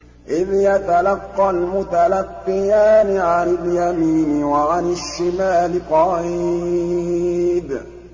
إِذْ يَتَلَقَّى الْمُتَلَقِّيَانِ عَنِ الْيَمِينِ وَعَنِ الشِّمَالِ قَعِيدٌ